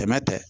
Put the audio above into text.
Tɛmɛ tɛ